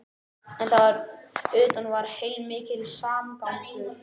En þar fyrir utan var heilmikill samgangur.